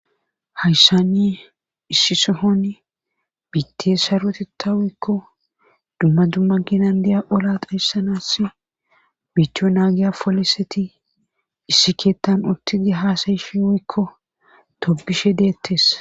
hayssani issi sohon biitte sarwetita woykko dumma dumma ginandiya ola dahyssanas biittiyo naagiya poliseti issi keetan uttidi haasayifi woykko tobishe deettes